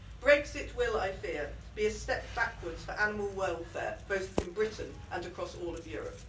Brexit will, I fear, be a step backwards for animal welfare, both in Britain and across all of Europe.